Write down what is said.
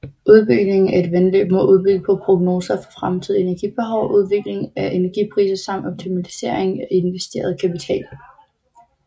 Udbygning af et vandløb må bygge på prognoser for fremtidig energibehov og udvikling af energipriser samt optimalisering af investeret kapital